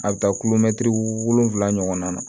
A bɛ taa kulomɛtiri wolonwula ɲɔgɔn na